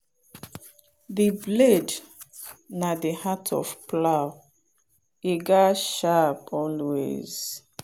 the blade na the heart of plow e gatz sharp always.